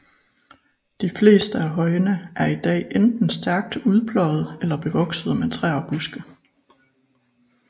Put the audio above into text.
De fleste af højene er i dag enten stærkt udpløjede eller bevoksede med træer og buske